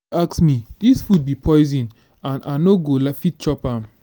ask me dis food be poison and i no go fit chop am